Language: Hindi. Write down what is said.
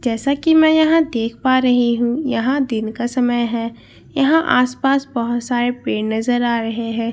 जैसा की मैं यहाँ देख पा रही हूँ यहाँ दिन का समय है यहां आसपास बहुत सारे पेड़ नजर आ रहे हैं यहाँ--